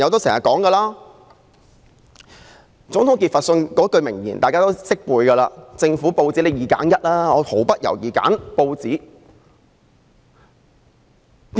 總統傑佛遜有一句名言，大家都耳熟能詳："如果要我在政府與報紙中二擇其一，我會毫不猶豫地選擇報紙。